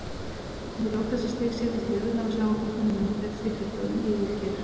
Við lok þessa stigs setjast lirfurnar á sjávarbotninn og myndbreytast í fullorðin ígulker.